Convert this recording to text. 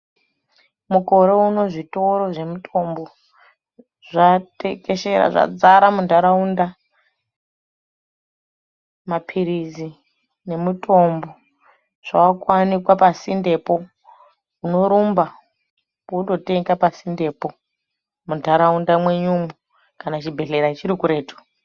Mukore Uno zvitoro zvemutombo zvatekeshera zvadzara mundaraunda mapirirtsi emutombo zvakuwanikwa pasindembo unorumba wonotenga pasindembo mundaraunda mwenyu umo kana chibhedhleya chiri kuretu.